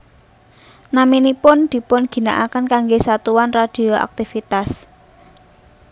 Naminipun dipunginaaken kanggé satuan radioaktivitas